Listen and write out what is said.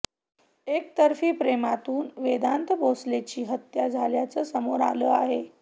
एकतर्फी प्रेमातून वेदांत भोसलेची हत्या झाल्याचं समोर आलं आहे